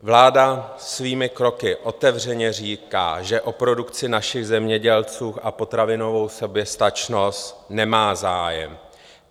Vláda svými kroky otevřeně říká, že o produkci našich zemědělců a potravinovou soběstačnost nemá zájem.